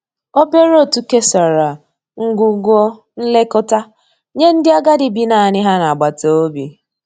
obere otu kesara ngwugwo nlekọta nye ndi agadi bi naani ha n'agbata obi.